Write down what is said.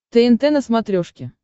тнт на смотрешке